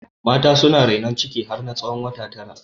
Mata suna rainon ciki har na tsawon wata tara